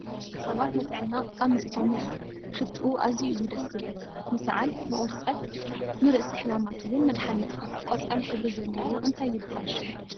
ንደቂ ሰባት ንጥዕና ጠቃሚ ዝኮነ እዩ። ሽትኡ ኣዝየ እዩ ደስ ዝብለካ ንስዓል ንቁርፀት ንስእሲ ሓማማት እውን መድሓኒት እዩ። ቆፃል ሕብሪ ዘለዎ እንታይ ይብሃል ሽሙ?